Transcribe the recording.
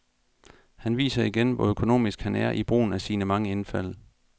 Han viser igen, hvor økonomisk han er i brugen af sine mange indfald.